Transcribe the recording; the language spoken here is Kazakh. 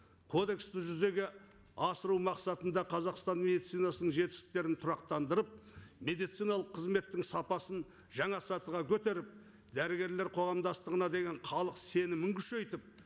кодексті жүзеге асыру мақсатында қазақстан медицинасының жетістіктерін тұрақтандырып медициналық қызметтің сапасын жаңа сатыға көтеріп дәрігерлер қоғамдастығына деген халық сенімін күшейтіп